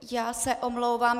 Já se omlouvám.